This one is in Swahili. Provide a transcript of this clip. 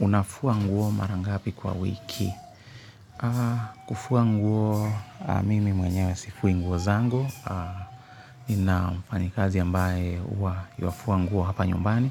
Unafua nguo mara ngapi kwa wiki? Kufua nguo mimi mwenyewe sifui nguo zangu. Nina mfanyikazi ambaye huwa yuafua nguo hapa nyumbani.